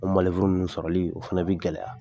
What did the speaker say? O ninnu sɔrɔli, o fana bi gɛlɛya.